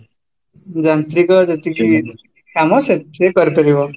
ଯାନ୍ତ୍ରିକ ଯେତିକି କାମ ସେଥିରେ ହେଇପାରିବ